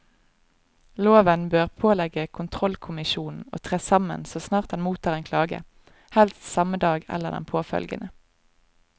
Loven bør pålegge kontrollkommisjonen å tre sammen så snart den mottar en klage, helst samme dag eller den påfølgende.